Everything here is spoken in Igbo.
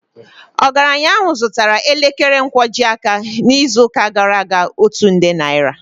Ogaranya ahụ zụtara elekere nkwojiaka n'izuụka gara aga otu nde naira